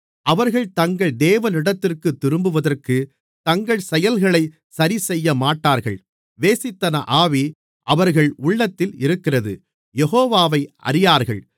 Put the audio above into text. அவர்கள் தங்கள் தேவனிடத்திற்குத் திரும்புவதற்குத் தங்கள் செயல்களை சரிசெய்யமாட்டார்கள் வேசித்தன ஆவி அவர்கள் உள்ளத்தில் இருக்கிறது யெகோவாவை அறியார்கள்